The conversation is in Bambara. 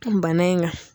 Bana in ka